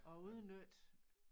At udnytte